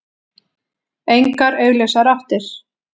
Engar augljósar áttir.